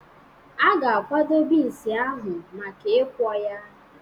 A ga-akwado bins ahụ maka ikwọ ya.